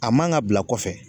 A man ka bila kɔfɛ